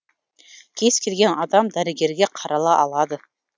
кез келген адам дәрігерге қарала алады